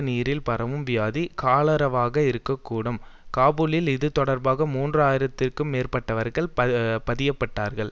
நீரில் பரவும் வியாதி காலராவாக இருக்க கூடும் காபூலில் இதுதொடர்பாக மூன்று ஆயிரம்திற்கு மேற்பட்டவர்கள் பதியப்பட்டார்கள்